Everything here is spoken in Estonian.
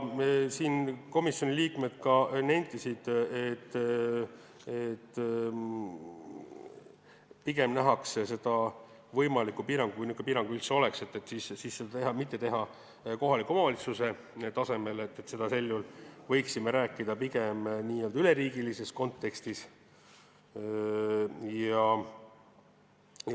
Komisjoni liikmed nentisid, et pigem nähakse seda võimalikku piirangut sellisena, et seda mitte teha kohaliku omavalitsuse tasemel, vaid võiksime rääkida pigem n-ö üleriigilises kontekstis.